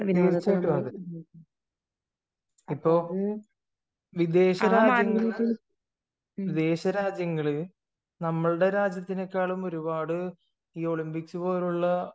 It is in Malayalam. തീർച്ചയായിട്ടും അതെ ഇപ്പോൾ വിദേശ രാജ്യങ്ങൾ വിദേശ രാജ്യങ്ങൾ നമ്മുടെ രാജ്യങ്ങളെക്കാൾ ഒരുപാട് ഈ ഒളിമ്പിക്സ് പോലുള്ള